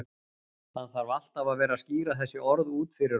Hann þarf alltaf að vera að skýra þessi orð út fyrir okkur.